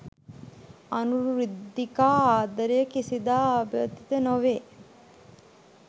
අනුරුද්ධිකා ආදරය කිසිදා ආබාධිත නොවේ